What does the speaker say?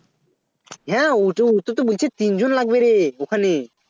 হ্যাঁ ওত ওটাতো বলছে তিন জন লাগবে রে